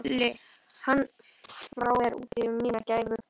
Falli hann frá er úti um mína gæfu.